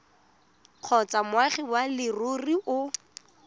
kgotsa moagi wa leruri o